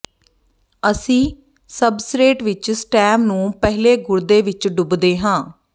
ਅਸੀਂ ਸਬਸਰੇਟ ਵਿੱਚ ਸਟੈਮ ਨੂੰ ਪਹਿਲੇ ਗੁਰਦੇ ਵਿੱਚ ਡੁੱਬਦੇ ਹਾਂ